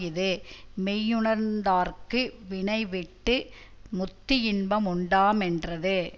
இது மெய்யுணர்ந்தார்க்கு வினைவிட்டு முத்தியின்ப முண்டா மென்றது